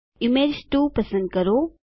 image 2 પસંદ કરો